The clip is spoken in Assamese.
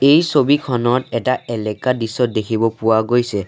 এই ছবিখনত এটা এলেকা দৃশ্য দেখিব পোৱা গৈছে।